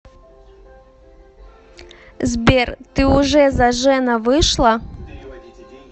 сбер ты уже зажена вышла